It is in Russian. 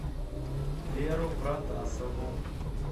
веру протасову